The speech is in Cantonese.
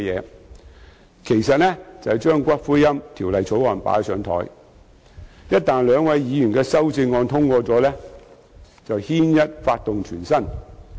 這其實是把《私營骨灰安置所條例草案》"擺上檯"，因為一旦兩位議員的修正案獲得通過，便會"牽一髮動全身"。